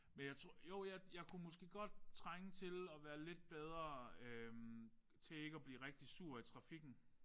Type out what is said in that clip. Men jeg tror jo jeg jeg kunne måske godt trænge til at være lidt bedre øh til ikke at blive rigtig sur i trafikken